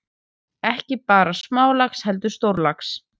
Ekki bara smálax heldur stórlax.